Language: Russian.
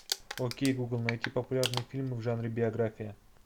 окей гугл найти популярные фильмы в жанре биография